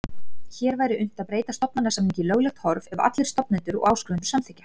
Hér væri unnt að breyta stofnsamningi í löglegt horf ef allir stofnendur og áskrifendur samþykkja.